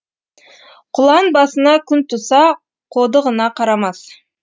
құлан басына күн туса қодығына қарамас